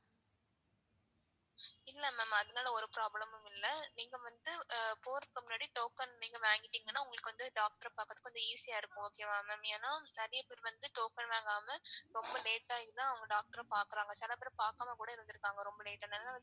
இல்ல ma'am அதுனால ஒரு problem மும் இல்ல நீங்க வந்து போறதுக்கு முன்னாடி token நீங்க வாங்கிடீங்கனா உங்களுக்கு வந்து doctor அ பாக்குறதுக்கு கொஞ்சம் easy யா இருக்கும் okay வா mam? ஏன்னா நிறைய பேர் வந்து token வாங்காம late ஆயிதான் அவங்க doctor அ பாக்குறாக சில பேர் பாக்காம கூட இருந்துருக்காங்க ரொம்ப late ஆனதுனால.